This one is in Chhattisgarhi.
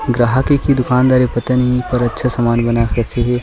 ग्राहक ए की दुकान दार ए पता नहीं पर अच्छा समान बना के रखे हे।